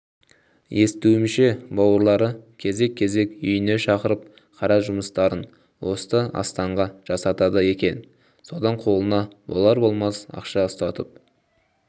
естуімше бауырлары кезек-кезек үйіне шақырып қара жұмыстарын осы астанға жасатады екен содан қолына болар-болмас ақша ұстатып